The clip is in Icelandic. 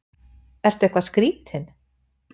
Ertu eitthvað skrítinn?